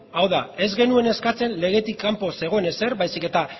hau da ez genuen eskatzen legetik kanpo zegoen ezer baizik eta